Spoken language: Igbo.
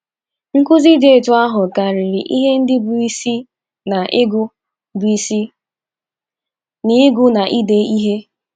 Nkụzi dị otú ahụ karịrị ihe ndị bụ́ isi n’ịgụ bụ́ isi n’ịgụ na ide ihe.